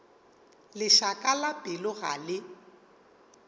lešaka la pelo ga le